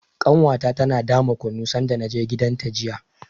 Ƙanwata tana dama kunu sanda na je gidanta jiya.